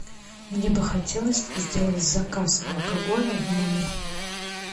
мне бы хотелось сделать заказ алкоголя в номер